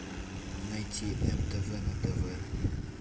найти мтв на тв